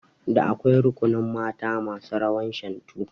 Da akwai rukunin mata masu rawar Shantu